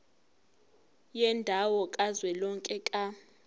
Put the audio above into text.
yendawo kazwelonke ka